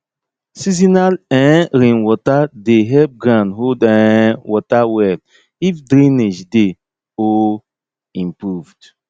seasonal um rainwater dey help ground hold um water well if drainage dey um improved